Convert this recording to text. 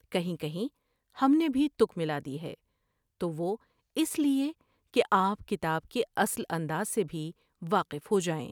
کہیں کہیں ہم نے بھی تک ملا دی ہے تو وہ اس لیے کہ آپ کتاب کے اصل انداز سے بھی واقف ہو جائیں ۔